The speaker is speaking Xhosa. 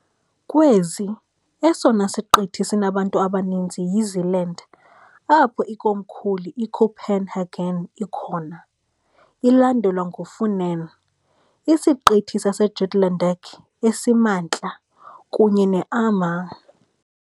Kwezi, esona siqithi sinabantu abaninzi yiZealand, apho ikomkhulu iCopenhagen ikhona, ilandelwa nguFunen, iSiqithi saseJutlandic esiMantla, kunye neAmager .